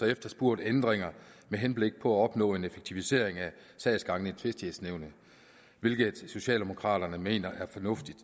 efterspurgt ændringer med henblik på at opnå en effektivisering af sagsgangen i tvistighedsnævnet hvilket socialdemokraterne mener er fornuftigt